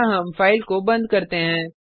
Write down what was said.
यहाँ हम फाइल को बंद करते हैं